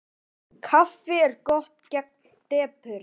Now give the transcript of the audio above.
Kaffi er gott gegn depurð.